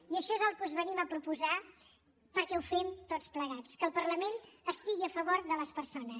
i això és el que us venim a proposar perquè ho fem tots plegats que el parlament estigui a favor de les persones